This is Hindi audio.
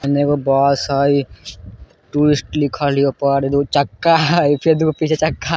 इने एगो बस है टूरिस्ट लिखल या ओय पर दू चक्का है फिर दू गो पीछे चक्का है।